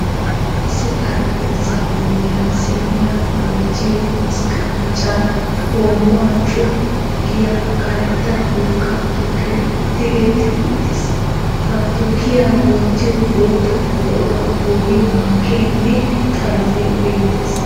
Issi xaraphpheezzaa bollaan siiniya woottiyo masqqemeccan hoommuwa cooffu giya karetta dulkka tukkee tigeti uttiis. Ha tukkiya wottiyo bootta buqquraa bolli mankeenne, xalotee beettees.